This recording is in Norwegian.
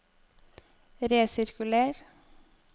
resirkuler